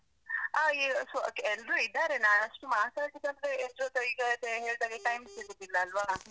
ಆ ಈ ಎಲ್ರೂ ಇದ್ದಾರೆ. ನಾನಷ್ಟು ಮಾತಾಡ್ಲಿಕ್ ಅಂದ್ರೆ, ಎಲ್ರ ಜೊತೆ ಈಗ ಹೇಳ್ಧಾಗೆ time ಸಿಗುದಿಲ್ಲ ಅಲ್ವ?